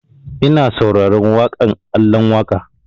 Ina sauraren waƙan Alan Waƙa